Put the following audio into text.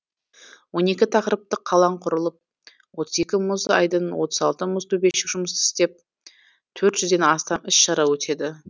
он екі тақырыптық алаң құрылып отыз екі мұз айдыны отыз алты мұз төбешік жұмыс істеп төрт жүзден астам іс шара өтеді